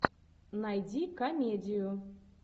найди комедию